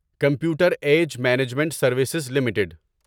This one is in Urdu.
computer age management services limited